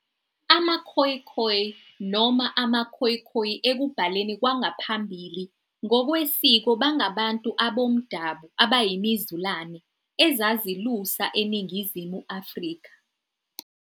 AmaKhoekhoe noma, AmaKhoikhoi ekubhaleni kwangaphambili, ngokwesiko bangabantu abomdabu abayimizulane ezazilusa eNingizimu Afrika.